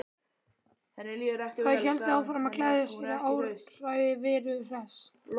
Þær héldu áfram að gleðjast yfir áræði Veru Hress.